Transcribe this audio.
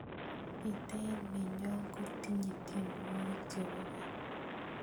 biteet nenyo kotinyei tienwokik chebo gaa